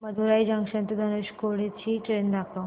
Madurai junction ते धनुषकोडी ची train दाखव